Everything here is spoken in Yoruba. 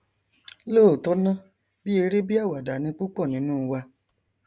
lóòtọ ná bí eré bí àwàdà ni púpọ nínú wa